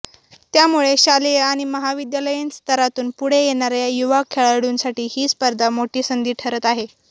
त्यामुळे शालेय आणि महाविद्यालयीन स्तरातून पुढे येणाऱ्या युवा खेळाडूंसाठी ही स्पर्धा मोठी संधी ठरत आहे